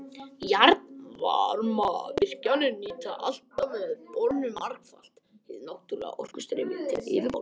Jarðvarmavirkjanir nýta alltaf með borunum margfalt hið náttúrlega orkustreymi til yfirborðs.